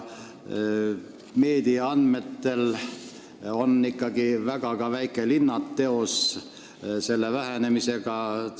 Meedia andmetel on ka väikelinnadel selle vähenemisega tegemist.